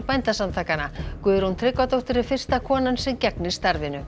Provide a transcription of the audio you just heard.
Bændasamtakanna Guðrún Tryggvadóttir er fyrsta konan sem gegnir starfinu